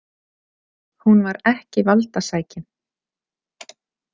Hún var ekki valdasækin.